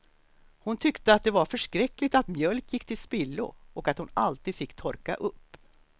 Hon tyckte att det var förskräckligt att mjölk gick till spillo och att hon alltid fick torka upp.